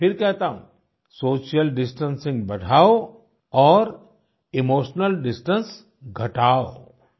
मैं फिर कहता हूँ सोशल डिस्टेंसिंग बढ़ाओ और इमोशनल डिस्टेंस घटाओ